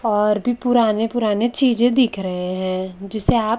और भी पुराने पुराने चीजें दिख रहे हैं जिसे आप--